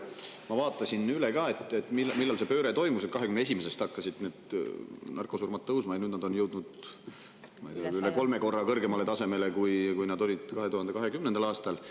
Ma vaatasin üle ka, millal see pööre toimus: 2021. aastast hakkas narkosurmade arv tõusma ja nüüd see on jõudnud üle kolme korra kõrgemale tasemele, kui see oli 2020. aastal.